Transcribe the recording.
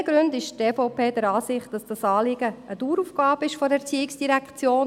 Aus diesen Gründen ist die EVP der Ansicht, dass dieses Anliegen eine Daueraufgabe der ERZ ist;